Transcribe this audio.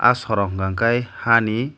aw soro unkkake haa ni.